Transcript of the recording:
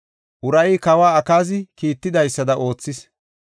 Urayi kawoy Akaazi kiittidaysada oothis.